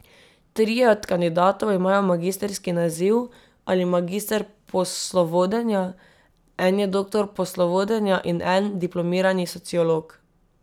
Trije od kandidatov imajo magistrski naziv ali magister poslovodenja, en je doktor poslovodenja in en diplomirani sociolog.